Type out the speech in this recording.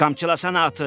Qamçılasan atı?